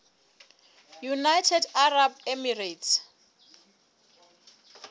united arab emirates